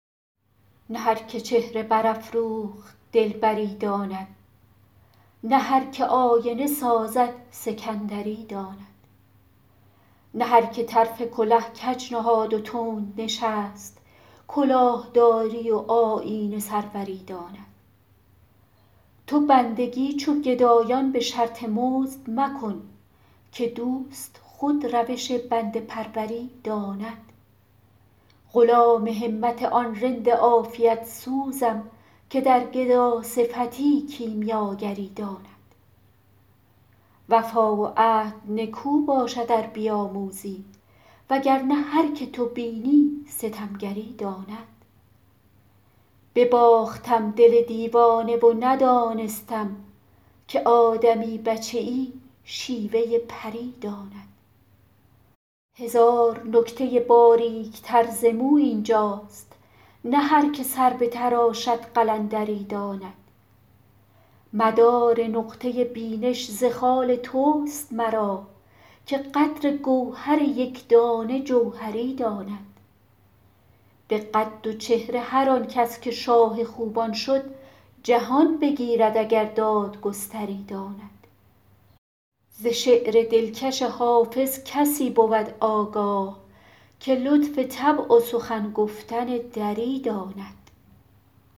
نه هر که چهره برافروخت دلبری داند نه هر که آینه سازد سکندری داند نه هر که طرف کله کج نهاد و تند نشست کلاه داری و آیین سروری داند تو بندگی چو گدایان به شرط مزد مکن که دوست خود روش بنده پروری داند غلام همت آن رند عافیت سوزم که در گداصفتی کیمیاگری داند وفا و عهد نکو باشد ار بیاموزی وگر نه هر که تو بینی ستمگری داند بباختم دل دیوانه و ندانستم که آدمی بچه ای شیوه پری داند هزار نکته باریک تر ز مو این جاست نه هر که سر بتراشد قلندری داند مدار نقطه بینش ز خال توست مرا که قدر گوهر یک دانه جوهری داند به قد و چهره هر آن کس که شاه خوبان شد جهان بگیرد اگر دادگستری داند ز شعر دلکش حافظ کسی بود آگاه که لطف طبع و سخن گفتن دری داند